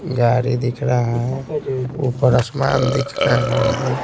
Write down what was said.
गाड़ी दिख रहा है ऊपर आसमान दिख रहा है।